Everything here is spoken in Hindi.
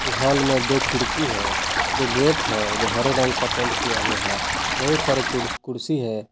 इस हाल में दो खिड़की है दो गेट हैं जो हरे रंग का पेंट किया हुआ है बहुत सारे कुर्सी है।